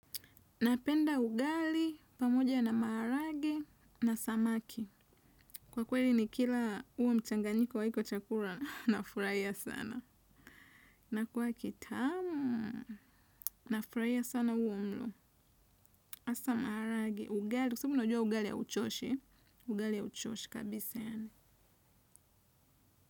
Napenda ugali pamoja na maharagwe na samaki. Kwa kweli nikila huo mchanganyiko wa hiko chakula nafurahia sana. Na kwa kitamu nafurahia sana huo mlo hasa maharagwe ugali kwa sababu unajua ugali hauchoshi. Ugali hauchoshi kabisa yaani.